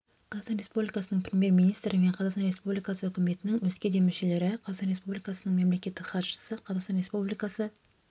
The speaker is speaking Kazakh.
қазақстан республикасының премьер-министрі мен қазақстан республикасы үкіметінің өзге де мүшелері қазақстан республикасының мемлекеттік хатшысы қазақстан республикасы